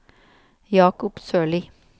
Jacob Sørli